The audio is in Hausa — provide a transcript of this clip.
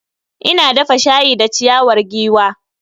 Ina dafa shayi da ciyawar giwa.